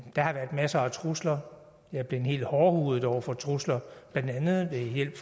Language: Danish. der har været masser af trusler jeg er blevet helt hårdhudet over for trusler blandt andet ved hjælp